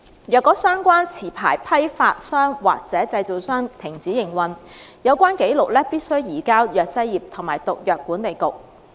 若相關持牌批發商或製造商停止營運，有關紀錄必須移交藥劑業及毒藥管理局。